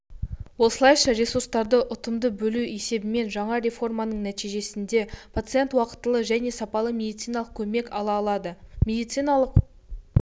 осылайша ресурстарды ұтымды бөлу есебінен жаңа реформаның нәтижесінде пациентуақтылы және сапалы медициналық көмек ала алады медициналық